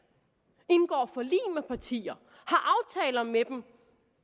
og partier og med dem